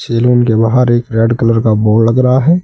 Salon के बाहर एक रेड कलर का बोर्ड लग रहा है।